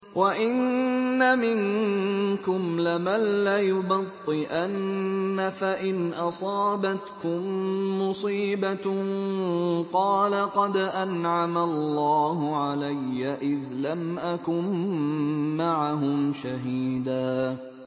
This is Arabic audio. وَإِنَّ مِنكُمْ لَمَن لَّيُبَطِّئَنَّ فَإِنْ أَصَابَتْكُم مُّصِيبَةٌ قَالَ قَدْ أَنْعَمَ اللَّهُ عَلَيَّ إِذْ لَمْ أَكُن مَّعَهُمْ شَهِيدًا